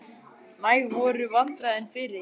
Næg voru vandræðin fyrir.